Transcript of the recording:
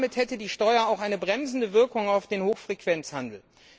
Damit hätte die Steuer auch eine bremsende Wirkung auf den Hochfrequenzhandel.